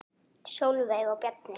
Sólveig og Bjarni.